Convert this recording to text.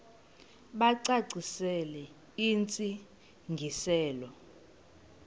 bacacisele intsi ngiselo